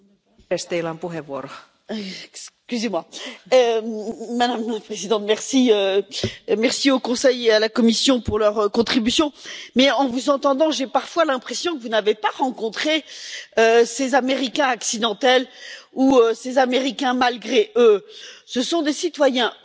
Madame la Présidente, je remercie le Conseil et la Commission pour leur contribution, mais en vous entendant j'ai parfois l'impression que vous n'avez pas rencontré ces Américains accidentels ou ces Américains malgré eux. Ce sont des citoyens européens qui se trouvent dans une situation très particulière